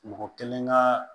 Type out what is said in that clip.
Mɔgɔ kelen ka